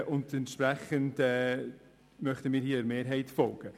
Entsprechend möchten wir der Mehrheit folgen.